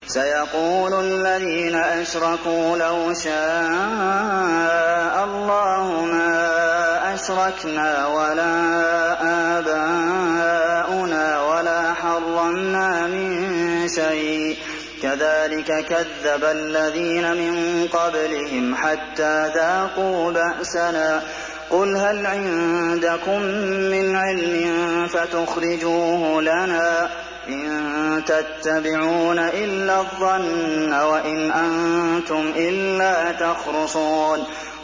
سَيَقُولُ الَّذِينَ أَشْرَكُوا لَوْ شَاءَ اللَّهُ مَا أَشْرَكْنَا وَلَا آبَاؤُنَا وَلَا حَرَّمْنَا مِن شَيْءٍ ۚ كَذَٰلِكَ كَذَّبَ الَّذِينَ مِن قَبْلِهِمْ حَتَّىٰ ذَاقُوا بَأْسَنَا ۗ قُلْ هَلْ عِندَكُم مِّنْ عِلْمٍ فَتُخْرِجُوهُ لَنَا ۖ إِن تَتَّبِعُونَ إِلَّا الظَّنَّ وَإِنْ أَنتُمْ إِلَّا تَخْرُصُونَ